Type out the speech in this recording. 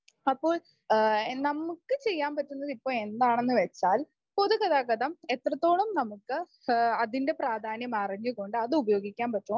അപ്പോൾ നമുക്ക് ചെയ്യാൻ പറ്റുന്നത് ഇപ്പോ എന്താണെന്ന് വച്ചാൽ പൊതുഗതാഗതം എത്രത്തോളം നമുക്ക് അതിന്റെ പ്രാധാന്യം അറിഞ്ഞു കൊണ്ട് അതുപയോഗിക്കാൻ പറ്റുമോ